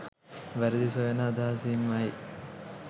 වැරදි සොයන අදහසින් ම යි.